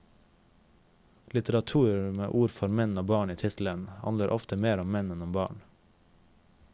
Litteratur med ord for menn og barn i tittelen, handler ofte mer om menn enn om barn.